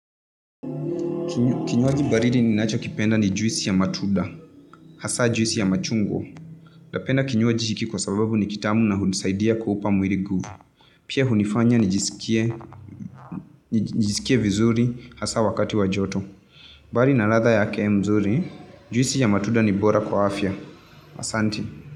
Kinyuaji bariri ninaja kipenda ni juisi ya matuda, hasa juisi ya machungo. Uda penda kinyuaji chiki kosababu ni kitamu na hunsaidi ya kupamu iligu. Pia hunifanya ni jisikie vizuri hasa wakati wa joto. Bari na ladha yake mzuri, juisi ya matuda ni bora kwaafia. Asanti.